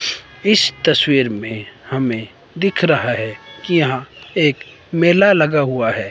इस तस्वीर में हमें दिख रहा हैं कि यहां एक मेला लगा हुआ है।